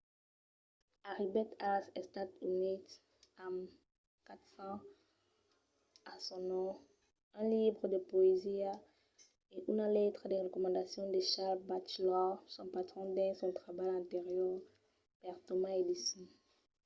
arribèt als estats units amb 4 cents a son nom un libre de poesia e una letra de recomendacion de charles batchelor son patron dins son trabalh anterior per thomas edison